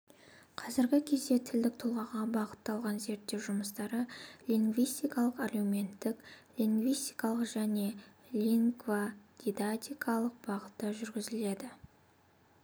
қазіргі кезде тілдік тұлғаға бағытталған зерттеу жұмыстары лингвистикалық әлеуметтік лингистикалық және лингводидактикалық бағытта жүргізіледі